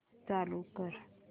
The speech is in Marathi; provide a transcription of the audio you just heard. पुन्हा चालू कर